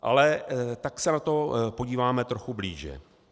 Ale tak se na to podíváme trochu blíže.